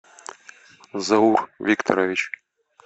заур викторович